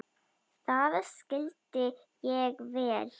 Það skildi ég vel.